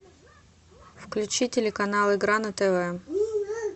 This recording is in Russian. включи телеканал игра на тв